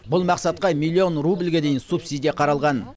бұл мақсатқа миллион рубльге дейін субсидия қаралған